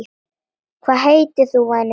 Hvað heitir þú væni minn?